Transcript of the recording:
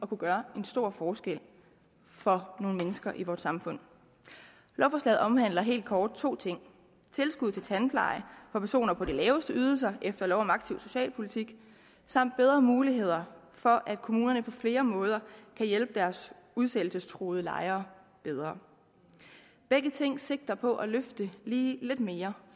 kunne gøre en stor forskel for nogle mennesker i vores samfund lovforslaget omhandler helt kort to ting tilskud til tandpleje for personer på de laveste ydelser efter lov om aktiv socialpolitik samt bedre muligheder for at kommunerne på flere måder kan hjælpe deres udsættelsestruede lejere bedre begge ting sigter på at løfte lige lidt mere